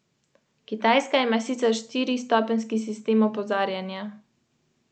Obležala sva skupaj, s prepletenimi udi, z mojo glavo na njegovi rami.